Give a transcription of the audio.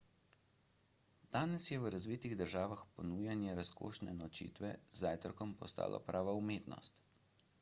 danes je v razvitih državah ponujanje razkošne nočitve z zajtrkom postalo prava umetnost